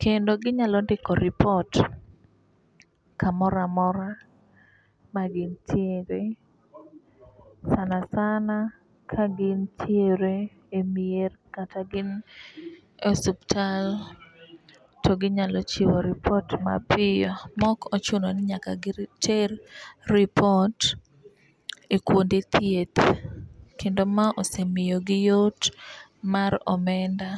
kendo ginyalo ndiko ripot kamoramora ma gintiere sanasana ka gintire e mier kata gin e osuptal to ginyalo chiwo ripot mapiyo mok ochuno ni nyaka girit giter ripot e kuonde thieth kendo ma osemiyo gi yot mar omenda.